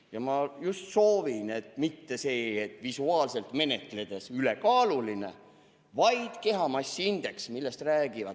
Ma soovin, et mitte sellest, et visuaalselt menetledes on keegi ülekaaluline, vaid lähtutaks kehamassiindeksist.